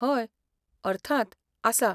हय, अर्थांत, आसा.